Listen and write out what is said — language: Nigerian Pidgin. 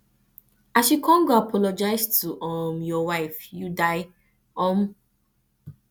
as you come go apologise to um your wife you die you die um